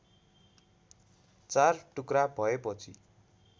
चार टुक्रा भएपछि